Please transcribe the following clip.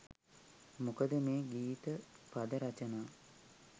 මොකද මේ ගීත පද රචනා